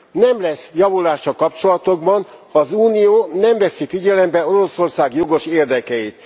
Nem lesz javulás a kapcsolatokban, ha az Unió nem veszi figyelembe Oroszország jogos érdekeit.